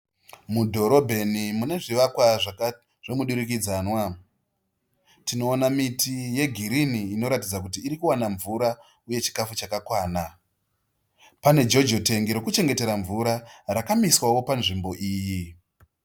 Mudhorobheni mune zvivakwa zvemudurikidzwana. Tinoona miti yegirini inoratidza kuti iri kuwana mvura uye chikafu chakakwana. Pane jojo tengi rokuchengetera mvura rakamiswawo panzvimbo iyi.